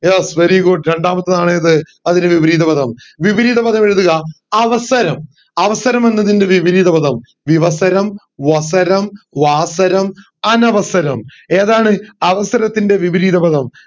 yes very good രണ്ടാമത്തെയാണ് ഏത് അതിന്റെ വിപരീതപദം വിപരീത പദം എഴുതുക അവസരം അവസരം എന്നതിൻറെ വിപരീതപദം വിവസരം വസരം വാസരം അനവസരം ഏതാണ് അവസരത്തിൻറെ വിപരീതപദം